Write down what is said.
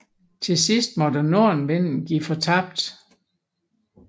Til sidst måtte nordenvinden give fortabt